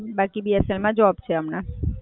બાકી BSNL માં job છે હમણાં.